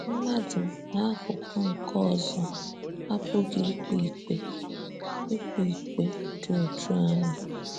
Mmadụ n'akụkụ nke ọzọ, apụghị ịkpé ịkpé ịkpé ịkpé dị otú ahụ.